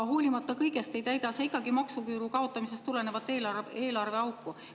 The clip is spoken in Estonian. Hoolimata kõigest ei täida see ikkagi maksuküüru kaotamisest tulenevat eelarveauku.